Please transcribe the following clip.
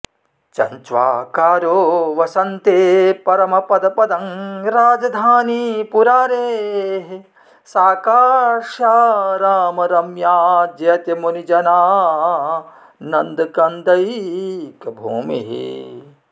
चञ्च्वाकारो वसन्ते परमपदपदं राजधानी पुरारेः सा काश्यारामरम्या जयति मुनिजनानन्दकन्दैकभूमिः